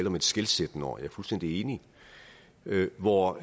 om et skelsættende år og jeg er fuldstændig enig hvor